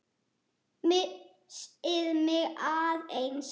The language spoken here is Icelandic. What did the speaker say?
Missti mig aðeins.